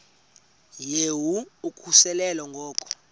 yehu ukususela ngo